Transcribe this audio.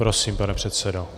Prosím, pane předsedo.